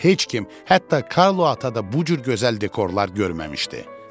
Heç kim, hətta Karlo ata da bu cür gözəl dekorlar görməmişdi.